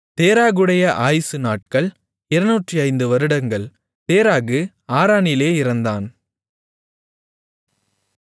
தேராகுடைய ஆயுசு நாட்கள் 205 வருடங்கள் தேராகு ஆரானிலே இறந்தான்